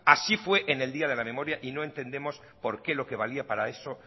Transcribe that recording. así fue en el día de la memoria y no entendemos por qué lo que valía para eso